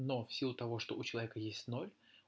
но в силу того что у человека есть ноль